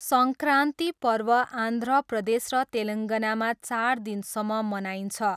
सङ्क्रान्ति पर्व आन्ध्र प्रदेश र तेलङ्गानामा चार दिनसम्म मनाइन्छ।